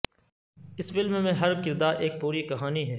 اس فلم میں ہر کردار ایک پوری کہانی ہے